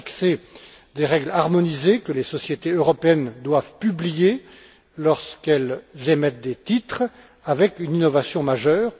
Elle a fixé des règles harmonisées que les sociétés européennes doivent publier lorsqu'elles émettent des titres, avec une innovation majeure.